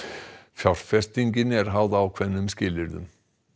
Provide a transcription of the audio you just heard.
fjárfestingin er háð ákveðnum skilyrðum